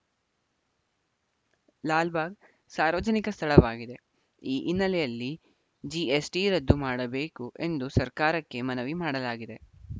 ಲಾಲ್‌ಬಾಗ್‌ ಸಾರ್ವಜನಿಕ ಸ್ಥಳವಾಗಿದೆ ಈ ಹಿನ್ನೆಲೆಯಲ್ಲಿ ಜಿಎಸ್‌ಟಿ ರದ್ದು ಮಾಡಬೇಕು ಎಂದು ಸರ್ಕಾರಕ್ಕೆ ಮನವಿ ಮಾಡಲಾಗಿದೆ